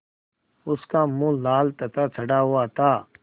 उसका मुँह लाल तथा चढ़ा हुआ था